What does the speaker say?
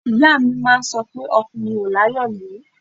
Ìyá mi máa ń sọ pé ọkùnrin ò láyọ̀lé